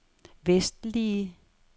vestlige